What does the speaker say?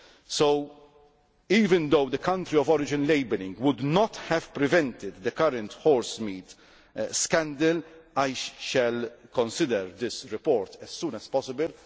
is out. So even though country of origin labelling' would not have prevented the current horsemeat scandal, I shall consider this report as soon as